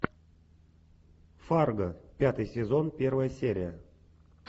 фарго пятый сезон первая серия